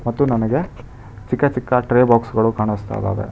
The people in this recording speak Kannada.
ಮತ್ತು ನನಗೆ ಚಿಕ್ಕ ಚಿಕ್ಕ ಟ್ರೆ ಬಾಕ್ಸ್ ಗಳು ಕಾಣಸ್ತಾ ಇದಾವೆ.